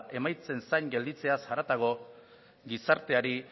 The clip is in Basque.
emaitzen zain gelditzeaz haratago gizarteari